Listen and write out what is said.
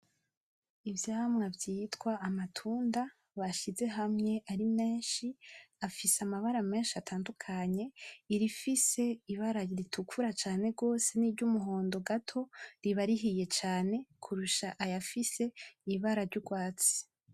Ivyamwa vyitwa amatunda bashize hamwe ari menshi afise amabara menshi atandukanye irifise ibara ritukura cane n'iryumuhondo gato riba rihiye cane kurusha ayafise ibara ry'ugwatsi.